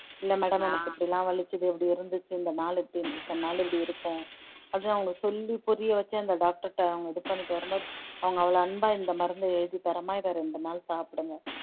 இல்லை madam எனக்கு இப்படி எல்லாம் வலிச்சது இப்படி இருந்துச்சு இந்த நாளு இப்படி இத்தனை நாள் இப்படி இருப்போம் அவங்க சொல்லி புரிய வச்சு அந்த doctor கிட்ட அவங்க இது பண்ணிட்டு வரும்போது அவங்க அவ்வளவு அன்பா இந்த மருந்தை எழுதி தர்றமா இதை ரெண்டு நாள் சாப்பிடுங்க